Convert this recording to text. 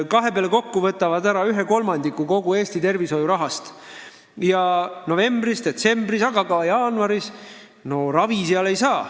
Kahe peale kokku võtavad nad ära 1/3 kogu Eesti tervishoiurahast ja novembris-detsembris, samuti jaanuaris seal ravi ei saa.